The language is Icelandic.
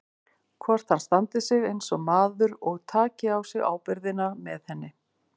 Hvort hann standi sig eins og maður og taki á sig ábyrgðina með henni.